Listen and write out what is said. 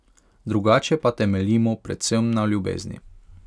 Drugače pa temeljimo predvsem na ljubezni.